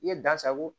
I ye da sago